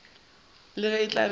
le ge e tla be